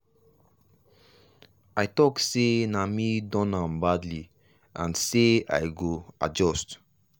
i talk sey nah me don am badly and sey i go adjust.